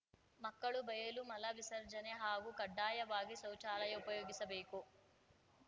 ಮಕ್ಕಳು ಬಯಲು ಮಲ ವಿಸರ್ಜನೆ ಹಾಗೂ ಕಡ್ಡಾಯವಾಗಿ ಶೌಚಾಲಯ ಉಪಯೋಗಿಸಬೇಕು